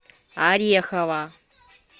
орехова